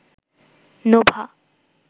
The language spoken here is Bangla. নোভা